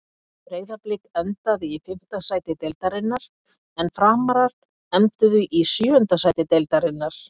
Breiðablik endaði í fimmta sæti deildarinnar en Framarar enduðu í sjöunda sæti deildarinnar.